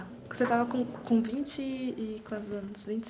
Você estava com com vinte e quantos anos? Vinte